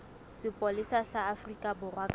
sepolesa sa afrika borwa kapa